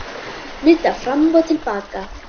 Nudda fram og til baka.